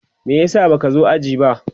me yasa baka zo jiya ba?